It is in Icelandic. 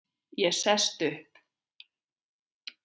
Ég sest upp.